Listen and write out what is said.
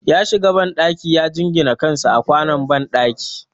Ya shiga banɗaki ya jingine kansa a kwanon banɗaki